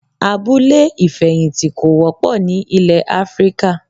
Abúlé ìfẹ̀yìntì kò wọ́pọ̀ ni ilé Áfríkà.